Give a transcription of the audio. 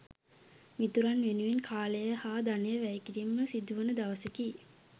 මිතුරන් වෙනුවෙන් කාලය හා ධනය වැය කිරීමට සිදුවන දවසකි.